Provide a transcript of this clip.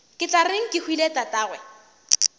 ke tla reng kehwile tatagwe